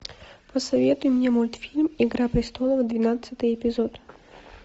посоветуй мне мультфильм игра престолов двенадцатый эпизод